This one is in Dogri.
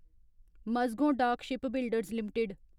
Mazagon dock shipbuilders limited